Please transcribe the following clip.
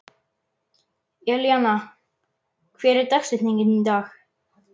Elíanna, hver er dagsetningin í dag?